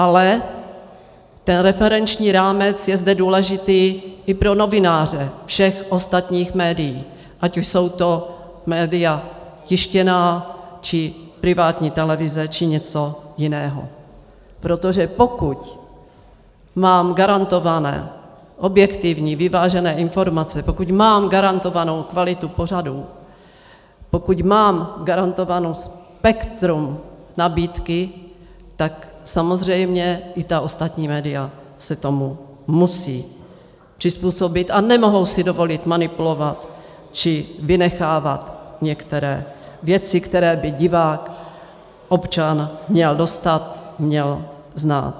Ale ten referenční rámec je zde důležitý i pro novináře všech ostatních médií, ať už jsou to média tištěná, či privátní televize, či něco jiného, protože pokud mám garantovány objektivní, vyvážené informace, pokud mám garantovánu kvalitu pořadů, pokud mám garantováno spektrum nabídky, tak samozřejmě i ta ostatní média se tomu musí přizpůsobit a nemohou si dovolit manipulovat či vynechávat některé věci, které by divák, občan měl dostat, měl znát.